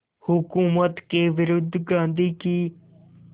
हुकूमत के विरुद्ध गांधी की